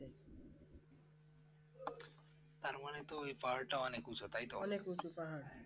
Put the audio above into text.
তার মানে তো পাহাড় টা অনেক উঁচু তাইতো